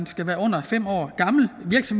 skal være under fem år gammel